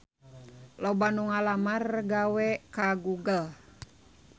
Loba anu ngalamar gawe ka Google